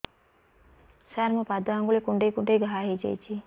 ସାର ମୋ ପାଦ ଆଙ୍ଗୁଳି କୁଣ୍ଡେଇ କୁଣ୍ଡେଇ ଘା ହେଇଯାଇଛି